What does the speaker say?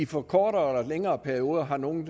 for kortere eller længere perioder har nogle